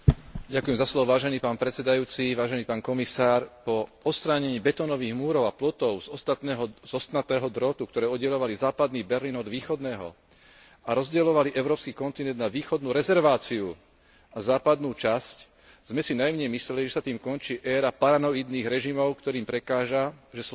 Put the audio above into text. Po odstránení betónových múrov a plotov z ostnatého drôtu, ktoré oddeľovali západný Berlín od východného a rozdeľovali európsky kontinent na východnú rezerváciu a západnú časť, sme si naivne mysleli, že sa tým končí éra paranoidných režimov, ktorým prekáža, že slobodní ľudia chcú slobodne komunikovať,